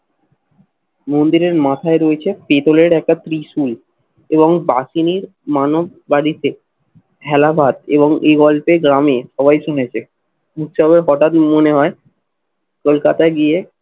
মন্দিরের মাথায় রয়েছে পিতলের একটা ত্রিশূল এবং বাঘিনীর মানব বাড়িতে হেলাবাদ এবং এই গল্পে গ্রামে সবাই শুনেছে। উৎসবে হঠাৎ মনে হয় কলকাতা গিয়ে